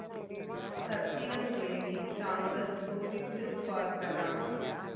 சத்தியம் தேவி தாங்கள் சோதித்து பார்க்கலாம்